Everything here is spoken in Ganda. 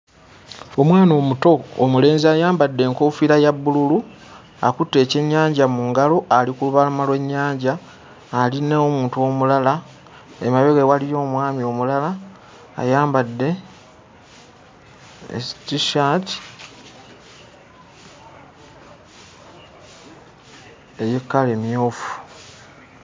Omwana omuto omulenzi ayambadde enkoofiira ya bbululu. Akutte ekyennyanja mu ngalo ali ku lubalama lw'ennyanja, ali n'omuntu omulala, emabega we waliyo omwami omulala ayambadde ttissaati eya kkala emmyufu.